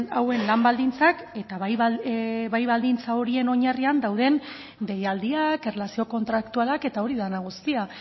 hauen lan baldintzak eta bai baldintza horien oinarrian dauden deialdiak erlazio kontraktualak eta hori dena guztia